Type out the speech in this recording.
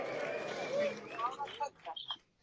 Þær voru báðar hræddar.